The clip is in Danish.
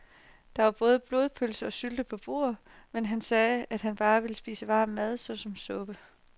Der var både blodpølse og sylte på bordet, men han sagde, at han bare ville spise varm mad såsom suppe.